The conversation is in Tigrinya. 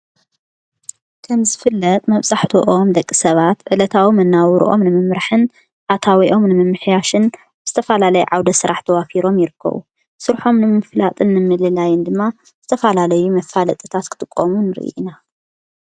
ከም ዝፍለጥ መብጻሕተኦም ደቂ ሰባት ዕለታዎም እናውሩኦም ንምምራሕን ኣታዊኦም ንምምሕያሽን ብስተፋላለይ ዓውደ ሥራሕ ተዋፊሮም ይርከዉ ሡርሖም ንምንፍላጥን ምልላይን ድማ ዝተፋላለይ መፋልጥታስ ክትቆምን ርኢና።